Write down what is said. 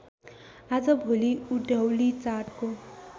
आजभोलि उधौली चाडको